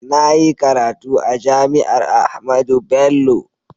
Na yi karatu a JAMI'AR AHMADU BELLO.